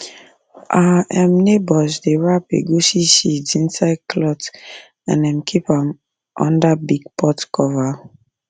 our um neighbours dey wrap egusi seeds inside cloth and um keep am under big pot cover